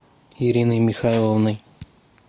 ириной михайловной